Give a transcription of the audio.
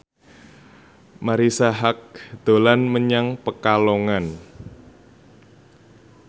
Marisa Haque dolan menyang Pekalongan